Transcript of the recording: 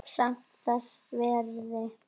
Samt þess virði.